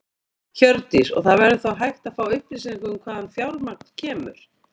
Hjördís: Og það verður þá hægt að fá upplýsingar um hvaðan fjármagn kemur?